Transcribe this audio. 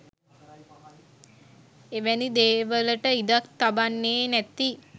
එවැනි දේවලට ඉඩක් තබන්නේ නැති